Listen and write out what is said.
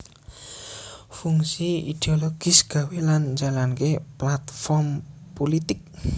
Fungsi idiologis gawé lan njalanké platform pulitik